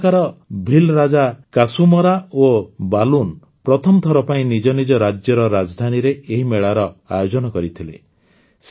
ସେତେବେଳକାର ଭୀଲ୍ ରାଜା କାସୁମରା ଓ ବାଲୁନ୍ ପ୍ରଥମ ଥର ପାଇଁ ନିଜ ନିଜ ରାଜ୍ୟର ରାଜଧାନୀରେ ଏହି ମେଳାର ଆୟୋଜନ କରିଥିଲେ